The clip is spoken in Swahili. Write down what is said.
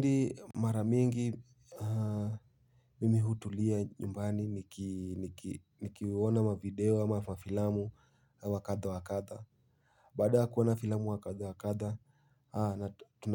Ndi maramingi mimi hutulia nyumbani nikiwona mavideo ama mafilamu wakatha wakatha. Bada kuona filamu wakatha wakatha